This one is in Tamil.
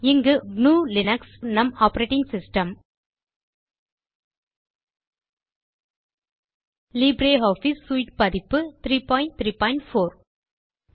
இங்கு gnuலினக்ஸ் நம் operating system LibreOffice suite பதிப்பு 334